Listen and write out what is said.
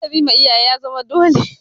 Ladabi ma iyaye ya zama dole.